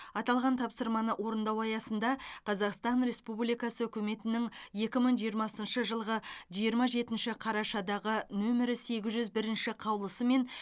аталған тапсырманы орындау аясында қазақстан республикасының үкіметінің екі мың жиырмасыншы жылғы жиырма жетінші қарашадағы нөмірі сегіз жүз бірінші қаулысымен